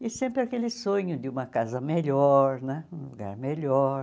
E sempre aquele sonho de uma casa melhor né, um lugar melhor.